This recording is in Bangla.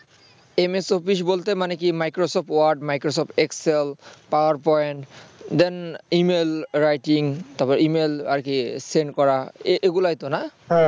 Ms office বলতে মানে কি microsoft wordmicrosoft excelpower pointemail writing তারপরে email আর কি send করা এগুলোই তো না